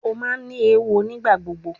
O ma ni ewo nigbagbogbo